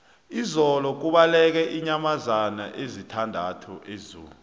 izolo kubaleke iinyamazana ezisithandathu ezoo